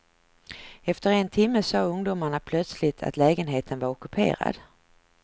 Efter en timme sade ungdomarna plötsligt att lägenheten var ockuperad.